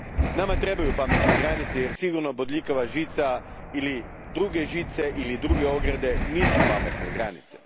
Nama trebaju pametne granice jer sigurno bodljikava žica ili druge žice ili druge ograde nisu pametne granice.